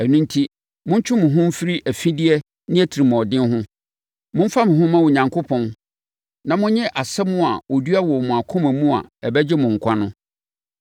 Ɛno enti, montwe mo ho mfiri afideɛ ne atirimuɔden ho. Momfa mo ho mma Onyankopɔn na monnye asɛm a ɔdua wɔ mo akoma mu a ɛbɛgye mo nkwa no.